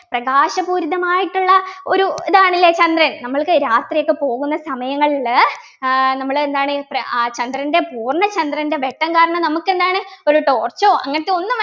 പ്രകാശപൂരിത മായിട്ടുള്ള ഒരു ഇതാണല്ലേ ചന്ദ്രൻ നമ്മൾക്ക് രാത്രിയൊക്കെ പോകുന്ന സമയങ്ങളിൽ ഏർ നമ്മൾ എന്താണ് പ്ര ആഹ് ചന്ദ്രൻ്റെ പൂർണ്ണ ചന്ദ്രൻ്റെ വെട്ടം കാരണം നമുക്ക് എന്താണ് ഒരു torch ഓ അങ്ങനത്തെ ഒന്നും